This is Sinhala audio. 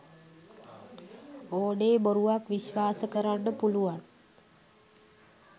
ඕනේ බොරුවක් විස්වාස කරන්න පුළුවන්